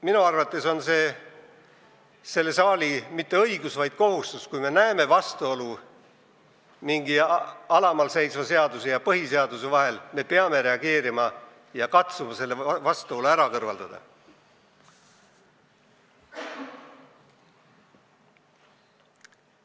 Minu arvates on see selle saali mitte õigus, vaid kohustus, et kui me näeme vastuolu mingi alamal seisva seaduse ja põhiseaduse vahel, siis me peame reageerima ja katsuma selle vastuolu kõrvaldada.